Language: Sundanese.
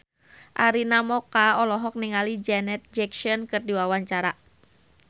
Arina Mocca olohok ningali Janet Jackson keur diwawancara